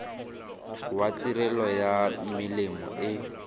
wa tirelo ya melemo e